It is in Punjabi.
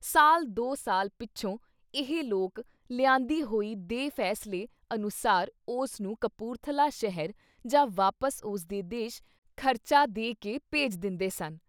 ਸਾਲ ਦੋ ਸਾਲ ਪਿੱਛੋਂ ਇਹ ਲੋਕ ਲਿਆਂਦੀ ਹੋਈ ਦੇ ਫੈਸਲੇ ਅਨੁਸਾਰ ਉਸ ਨੂੰ ਕਪੂਰਥਲਾ ਸ਼ਹਿਰ ਜਾਂ ਵਾਪਿਸ ਉਸਦੇ ਦੇਸ਼ ਖਰਚਾ ਦੇ ਕੇ ਭੇਜ ਦਿੰਦੇ ਸਨ।